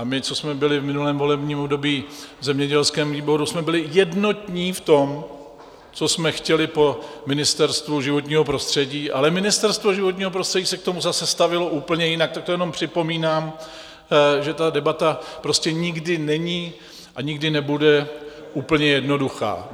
A my, co jsme byli v minulém volebním období v zemědělském výboru, jsme byli jednotní v tom, co jsme chtěli po Ministerstvu životního prostředí, ale Ministerstvo životního prostředí se k tomu zase stavělo úplně jinak, tak to jenom připomínám, že ta debata prostě nikdy není a nikdy nebude úplně jednoduchá.